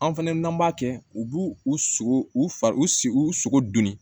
An fɛnɛ n'an b'a kɛ u b'u u sogo u fa u sogo dunni